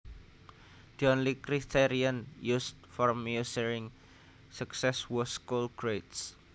The only criterion used for measuring success was school grades